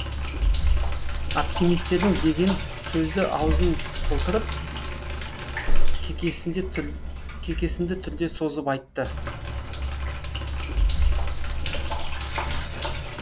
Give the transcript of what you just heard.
оптимистерің деген сөзді аузын толтырып кекесінді түрде созып айтты